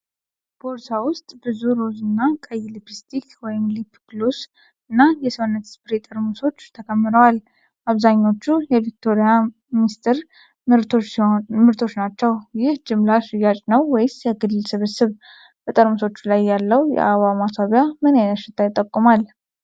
ቦርሳ ውስጥ ብዙ ሮዝ እና ቀይ ሊፕስቲክ (ሊፕ ግሎስ) እና የሰውነት ስፕሬይ ጠርሙሶች ተከምረዋል። አብዛኛዎቹ የቪክቶሪያ ሚስጥር ምርቶች ናቸው። ይህ ጅምላ ሽያጭ ነው ወይስ የግል ስብስብ? በጠርሙሶቹ ላይ ያለው የአበባ ማስዋቢያ ምን ዓይነት ሽታ ይጠቁማል?